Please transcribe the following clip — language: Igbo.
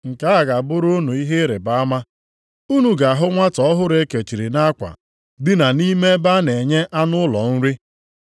Nke a ga-abụrụ unu ihe ịrịbama, unu ga-ahụ nwata ọhụrụ e kechiri nʼakwa, dina nʼime ebe a na-enye anụ ụlọ nri.”